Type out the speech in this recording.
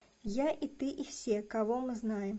я и ты и все кого мы знаем